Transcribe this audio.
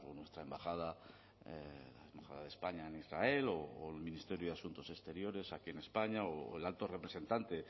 nuestra embajada de españa en israel o el ministerio de asuntos exteriores aquí en españa o el alto representante